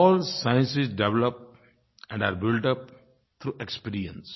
all sciences develop and are built up through experience